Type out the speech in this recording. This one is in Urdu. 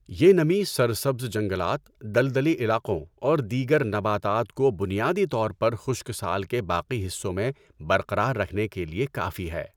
یہ نمی سرسبز جنگلات، دلدلی علاقوں اور دیگر نباتات کو بنیادی طور پر خشک سال کے باقی حصوں میں برقرار رکھنے کے لیے کافی ہے۔